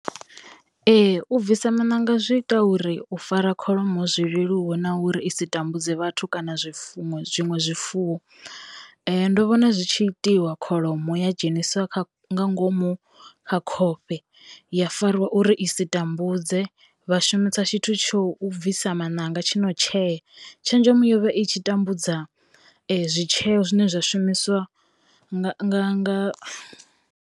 Ee u bvisa maṋanga zwi ita uri u fara kholomo zwi leluwe na uri i si tambudze vhathu kana zwifuwo zwiṅwe zwifuwo. Ndo vhona zwi tshi itiwa kholomo ya dzheniswa kha nga ngomu kha khofhe ya fariwa uri i si tambudze vha shumisa tshithu tsho bvisa maṋanga tshi no tshea, tshenzhemo yovha i tshi tambudza zwitshee zwine zwa shumiswa nga nga.